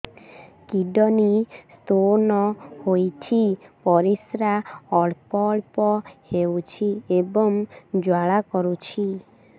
kidney stone ହୋଇଛି ପରିସ୍ରା ଅଳ୍ପ ଅଳ୍ପ ହେଉଛି ଏବଂ ଜ୍ୱାଳା କରୁଛି